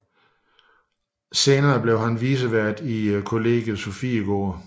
Senere blev han vicevært i Kollegiet Sofiegården